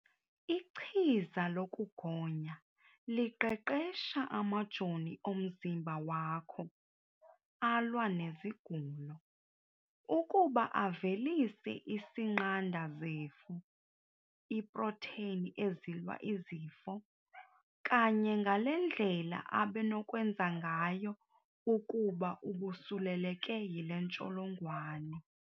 Ichiza lokugonya liqeqesha amajoni omzimba wakho alwa nezigulo ukuba avelise isinqanda zifo iiprotheyini ezilwa izifo kanye ngale ndlela abenokwenza ngayo ukuba ubusuleleke yile ntsholongwane.